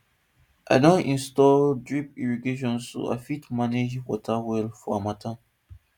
i don install drip irrigation so i fit manage water well for harmattan